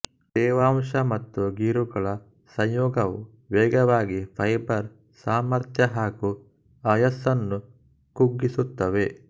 ತೇವಾಂಶ ಮತ್ತು ಗೀರುಗಳ ಸಂಯೋಗವು ವೇಗವಾಗಿ ಫೈಬರ್ ಸಾಮರ್ಥ್ಯ ಹಾಗೂ ಆಯುಸ್ಸನ್ನು ಕುಗ್ಗಿಸುತ್ತವೆ